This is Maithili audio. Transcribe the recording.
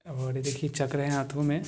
और इसकी चक्रो हाथों में--